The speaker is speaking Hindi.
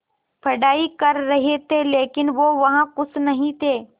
पढ़ाई कर रहे थे लेकिन वो वहां ख़ुश नहीं थे